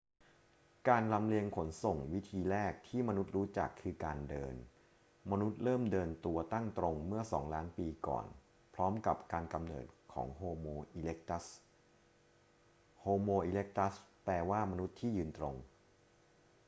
การลำเลียงขนส่งวิธีแรกที่มนุษย์รู้จักคือการเดิน มนุษย์เริ่มเดินตัวตั้งตรงเมื่อ 2 ล้านปีก่อนพร้อมกับการกำเนิดของโฮโม อีเร็กตัส homo erectus แปลว่า มนุษย์ที่ยืนตรง